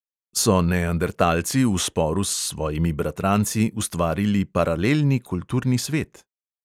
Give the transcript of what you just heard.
So neandertalci v sporu s svojimi bratranci ustvarili paralelni kulturni svet?